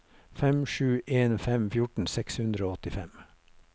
fem sju en fem fjorten seks hundre og åttifem